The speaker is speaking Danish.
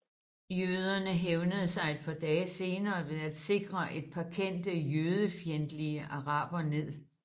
Jøderne hævnede sig et par dage senere ved at stikke et par kendte jødefjendtlige arabere ned